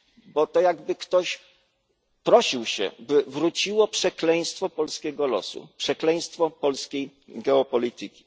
Bo to jakby ktoś prosił się, by wróciło przekleństwo polskiego losu, przekleństwo polskiej geopolityki.